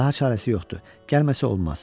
Daha çarəsi yoxdur, gəlməsə olmaz.